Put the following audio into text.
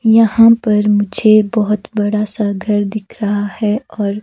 यहां पर मुझे बहोत बड़ा सा घर दिख रहा है और--